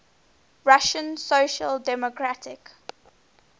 russian social democratic